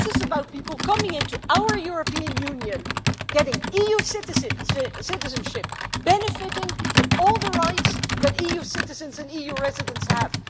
This is about people coming into our European Union, getting EU citizenship, benefiting from all the rights that EU citizens and EU residents have.